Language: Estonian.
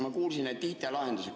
Ma kuulsin, et rääkisite IT‑lahendusest.